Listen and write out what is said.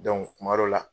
kuma dɔ la